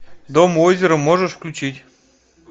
дом у озера можешь включить